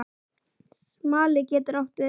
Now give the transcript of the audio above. Smali getur átt við